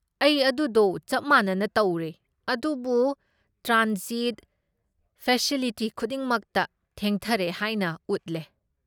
ꯑꯩ ꯑꯗꯨꯗꯣ ꯆꯞ ꯃꯥꯅꯅ ꯇꯧꯔꯦ, ꯑꯗꯨꯕꯨ ꯇ꯭ꯔꯥꯟꯖꯤꯠ ꯐꯦꯁꯤꯂꯤꯇꯤ ꯈꯨꯗꯤꯡꯃꯛꯇ ꯊꯦꯡꯊꯔꯦ ꯍꯥꯏꯅ ꯎꯠꯂꯦ꯫